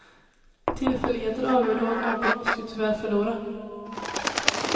Tillfälligheter avgjorde och någon måste ju tyvärr förlora.